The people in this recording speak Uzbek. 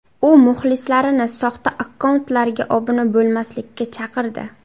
U muxlislarini soxta akkauntlarga obuna bo‘lmaslikka chaqirdi.